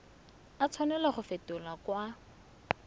a tshwanela go fetolwa kwa